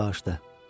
Başladı.